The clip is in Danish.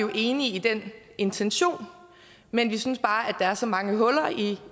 vi enige i den intention men vi synes bare der er så mange huller i